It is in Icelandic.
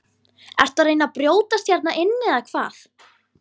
Ertu að reyna að brjótast hérna inn eða hvað!